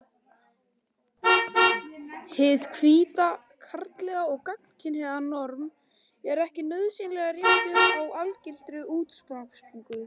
Hið hvíta, karllæga og gagnkynhneigða norm er ekki nauðsynlega réttur og algildur útgangspunktur.